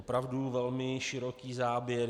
Opravdu velmi široký záběr.